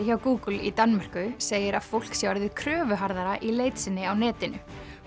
hjá Google í Danmörku segir að fólk sé orðið í leit sinni á netinu